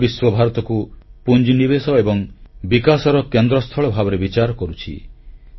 ସାରା ବିଶ୍ୱ ଭାରତକୁ ପୁଞ୍ଜିନିବେଶ ଏବଂ ବିକାଶର କେନ୍ଦ୍ରସ୍ଥଳ ଭାବରେ ବିଚାର କରୁଛି